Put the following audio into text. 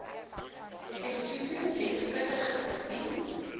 sesotho letterkunde verdien